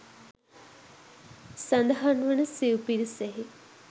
සඳහන් වන සිව් පිරිසෙහි